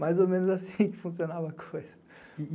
Mais ou menos assim que funcionava a coisa.